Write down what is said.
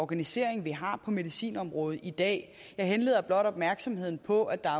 organisering vi har på medicinområdet i dag jeg henleder blot opmærksomheden på at der